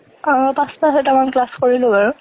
আ, পাঁচটা চৈতামান class কৰিলোঁ আৰু।